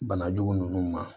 Banajugu ninnu ma